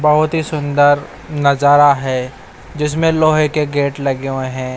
बहोत ही सुंदर नजारा है जिसमें लोहे के गेट लगे हुए हैं।